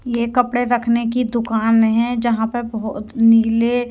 ये कपड़े रखने की दुकान है जहाँ पर बहोत नीले--